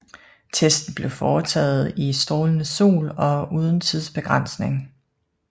Testen blev foretaget i strålende sol og uden tidsbegrænsning